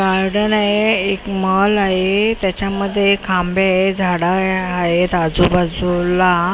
Garden आहे एक mall आहे त्याच्यामध्ये खांबे झाडं आहेत आजूबाजूला.